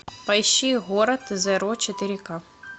поищи город зеро четыре ка